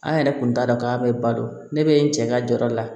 An yɛrɛ kun t'a dɔn k'a bɛ ba don ne bɛ n cɛ ka jɔyɔrɔ la